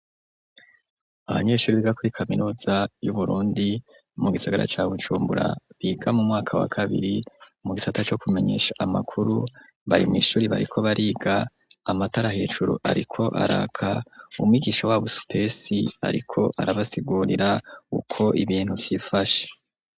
Abanyeshuri biga kuri kaminuza yu Burundi mu gisagara ca Bujumbura biga mu mwaka wa kabiri mu gisata co kumenyesha amakuru bari mWishuri bariko bariga amatarahejuru ariko araka, umwigisha w'abo supesi ariko arabasigurira uko ibintu Vyifashe.